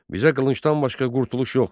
Bizə qılıncdan başqa qurtuluş yoxdur.